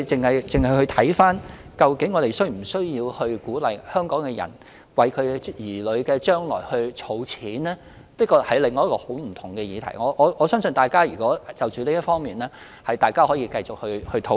因此，考慮究竟我們應否鼓勵香港市民為子女的將來儲蓄，確實是另一個截然不同的議題，我相信大家可以就此方面再作討論。